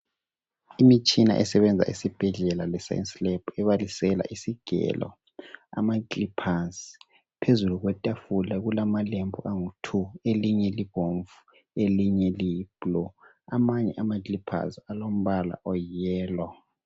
Imitshina esebenza esibhedlela le science lebhi ebalisela isigelo amakiliphazi phezulu kwetafula kulamalembu angu two elinye libomvu elinye liyi blue amanye amakiliphazi alombala oyi blue